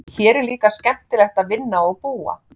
Hér er líka skemmtilegt að vinna og búa.